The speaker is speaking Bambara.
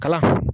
Kalan